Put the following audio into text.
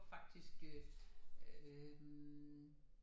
Faktisk øh